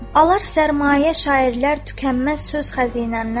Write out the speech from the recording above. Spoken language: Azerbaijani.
Alar sərmayə şairlər tükənməz söz xəzinəmdən.